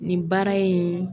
Nin baara in